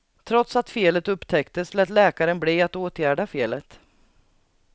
Trots att felet upptäcktes lät läkaren bli att åtgärda felet.